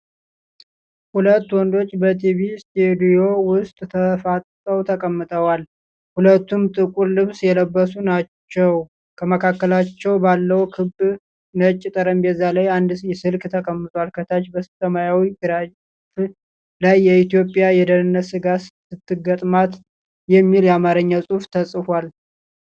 ሁለት ወንዶች በቲቪ ስቱዲዮ ውስጥ ተፋጠው ተቀምጠዋል። ሁለቱም ጥቁር ልብስ የለበሱ ናችው። ከመካከላቸው ባለው ክብ ነጭ ጠረጴዛ ላይ አንድ ስልክ ተቀምጧል። ከታች በሰማያዊ ግራፍ ላይ፣ "ኢትዮጵያ የደህንነት ስጋት ስትገጥማት" የሚል የአማርኛ ጽሑፍ ተጽፏል።